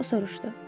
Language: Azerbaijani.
O soruşdu.